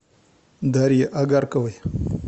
дарье агарковой